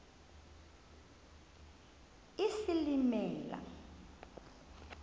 isilimela